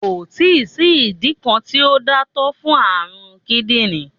Kò ì tí sí ìdí kan tí ó dáńtọ́ fún àrùn kídìní